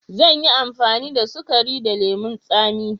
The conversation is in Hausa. Zan yi amfani da sukari da lemun tsami.